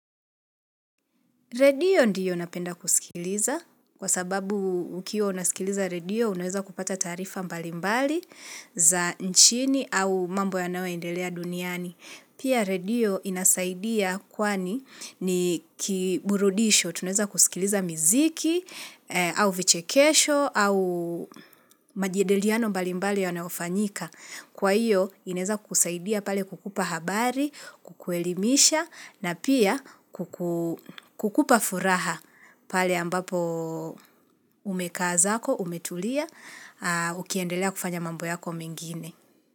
Redio ndiyo napenda kusikiliza kwa sababu ukiwa unaskiliza redio unaweza kupata taarifa mbalimbali za nchini au mambo yanayoendelea duniani. Pia redio inasaidia kwani ni kiburudisho tunaweza kusikiliza miziki au vichekesho au majedeliano mbalimbali yanayofanyika. Kwa hiyo, inaeza kusaidia pale kukupa habari, kukuelimisha na pia kukupa furaha pale ambapo umekaa zako, umetulia, ukiendelea kufanya mambo yako mengine.